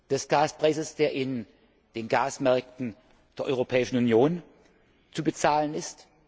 des Gaspreises, der auf den Gasmärkten der Europäischen Union zu bezahlen ist.